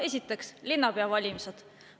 Esiteks, linnapea valimised.